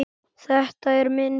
Þetta er minn bíll.